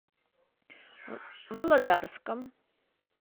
володарском